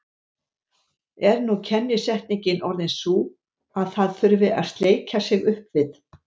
Er nú kennisetningin orðin sú að það þurfi að sleikja sig upp við